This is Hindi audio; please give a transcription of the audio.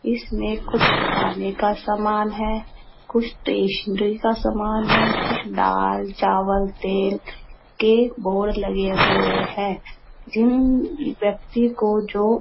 इस में कुछ खाने का सामान है कुछ टेसनरी का सामान है कुछ डाल चावल तेल के बोर्ड लगे हुए हैं| जिन व्यक्ति को जो --